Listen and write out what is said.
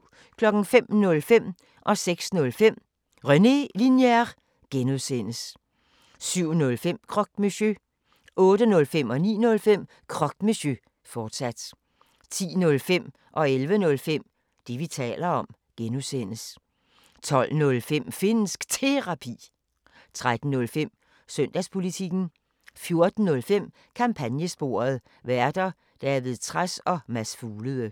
05:05: René Linjer (G) 06:05: René Linjer (G) 07:05: Croque Monsieur 08:05: Croque Monsieur, fortsat 09:05: Croque Monsieur, fortsat 10:05: Det, vi taler om (G) 11:05: Det, vi taler om (G) 12:05: Finnsk Terapi 13:05: Søndagspolitikken 14:05: Kampagnesporet: Værter: David Trads og Mads Fuglede